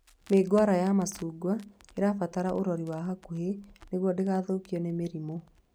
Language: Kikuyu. Mĩũngũrwa ya macungwa ĩbataraga ũrori wa hakuhĩ nĩguo ndĩgathukio nĩ mĩrimũ